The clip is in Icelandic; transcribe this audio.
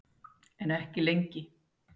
En ekki lengi.